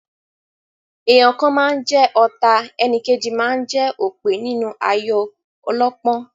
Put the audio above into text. Èèyàn kan máa ń jẹ ọ̀ta, enìkejì máa ń jẹ́ òpè nínú ayò ọlọ́pọ́n.